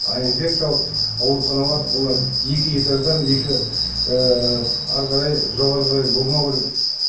ал инфекциялық ауруханалар олар екі этаждан екі әрі қарай жоғары қарай болмауы керек